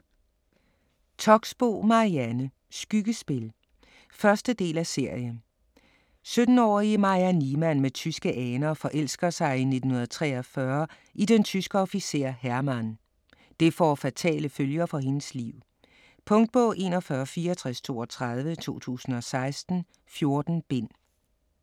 Toxboe, Marianne: Skyggespil 1. del af serie. 17-årige Maja Niemann med tyske aner forelsker sig i 1943 i den tyske officer Hermann. Det får fatale følger for hendes liv. Punktbog 416432 2016. 14 bind.